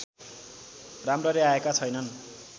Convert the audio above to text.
राम्ररी आएका छैनन्